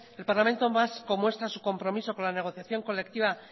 el parlamento vasco muestra su compromiso con la negociación colectiva